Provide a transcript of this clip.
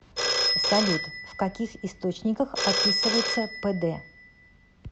салют в каких источниках описывается пд